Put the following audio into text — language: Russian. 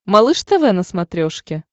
малыш тв на смотрешке